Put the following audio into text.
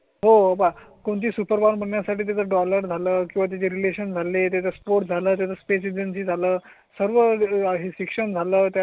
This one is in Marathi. हो कोणती सुपर बण्यासाठी डॉलर झालं किंवा त्याचे रिलेशन झाले त्याचा स्फोट झाला. त्या स्पेस एजन्सी झालं सर्व ही शिक्षण. झालं